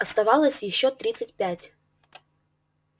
оставалось ещё тридцать пять